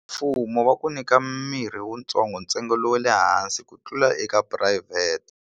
Mfumo va ku nyika mirhi wutsongo ntsengo lowu wa le hansi ku tlula eka phurayivhete.